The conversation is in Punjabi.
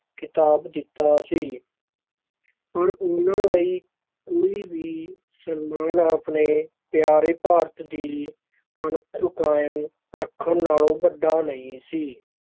ਖਿਤਾਬ ਦਿੱਤਾ ਸੀ ਪਰ ਉਹਨਾਂ ਲਈ ਕੋਈ ਵੀ ਸਨਮਾਨ ਆਪਣੇ ਪਿਆਰੇ ਭਾਰਤ ਦੀ ਅਣਖ ਕਾਇਮ ਰੱਖਣ ਨਾਲੋਂ ਵੱਡਾ ਨਹੀਂ ਸੀ।